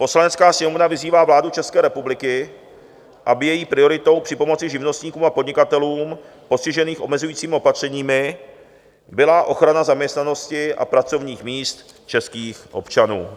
Poslanecká sněmovna vyzývá vládu České republiky, aby její prioritou při pomoci živnostníkům a podnikatelům postiženým omezujícími opatřeními byla ochrana zaměstnanosti a pracovních míst českých občanů.